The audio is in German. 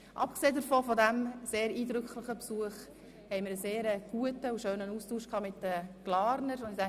Abgesehen von diesem sehr eindrücklichen Besuch war der Austausch mit den Glarnern sehr gut und schön.